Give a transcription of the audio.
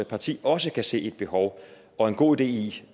parti også kan se et behov og en god idé i